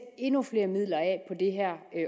endnu flere midler